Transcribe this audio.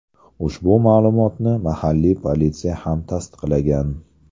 Ushbu ma’lumotni mahalliy politsiya ham tasdiqlagan.